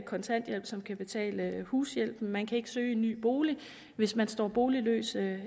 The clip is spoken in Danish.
kontanthjælp som kan betale hushjælpen man kan ikke søge en ny bolig hvis man står boligløs